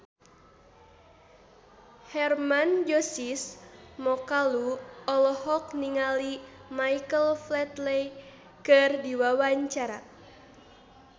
Hermann Josis Mokalu olohok ningali Michael Flatley keur diwawancara